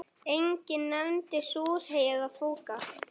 Enginn nefndi súrhey eða fúkka.